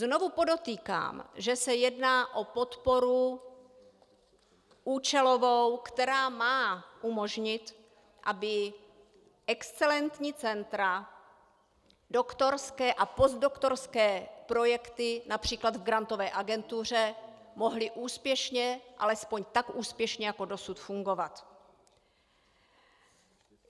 Znovu podotýkám, že se jedná o podporu účelovou, která má umožnit, aby excelentní centra, doktorské a postdoktorské projekty například v Grantové agentuře mohly úspěšně, alespoň tak úspěšně jako dosud, fungovat.